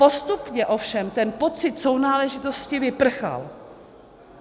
Postupně ovšem ten pocit sounáležitosti vyprchal.